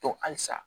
Tɔ halisa